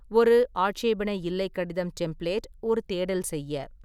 ஒரு 'ஆட்சேபனை இல்லை கடிதம் டெம்ப்ளேட்' ஒரு தேடல் செய்ய.